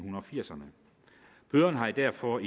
firserne bøderne har derfor